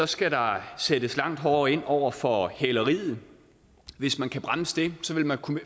skal der sættes langt hårdere ind over for hæleriet hvis man kan bremse det vil man